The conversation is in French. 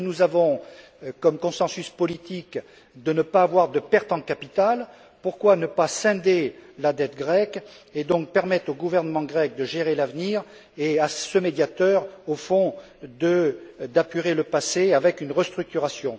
Puisque nous avons comme consensus politique de ne pas avoir de perte en capital, pourquoi ne pas scinder la dette grecque et permettre ainsi au gouvernement grec de gérer l'avenir et, à ce médiateur, au fond, d'apurer le passé avec une restructuration?